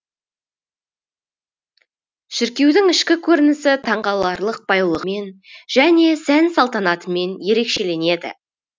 шіркеудің ішкі көрінісі таңғаларлық байлығымен және сән салтанатымен ерекшеленеді